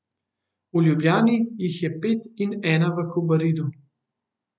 V Ljubljani jih je pet in ena v Kobaridu.